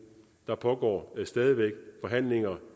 der pågår stadig væk forhandlinger